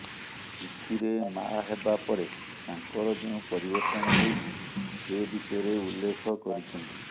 ଚିଠିରେ ମାଆ ହେବା ପରେ ତାଙ୍କର ଯେଉଁ ପରିବର୍ତ୍ତନ ହୋଇଛି ସେ ବିଷୟରେ ଉଲ୍ଲେଖ କରିଛନ୍ତି